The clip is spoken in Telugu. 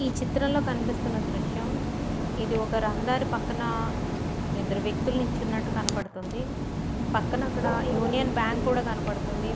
ఈ చిత్రంలో కనిపిస్తున్న దృశ్యం ఇది ఒక రహదారి పక్కన ఇద్దరు వ్యక్తులు నుంచున్నట్టుగా కనబడుతుంది. పక్కన యూనియన్ బ్యాంక్ కూడా కనబడుతుంది.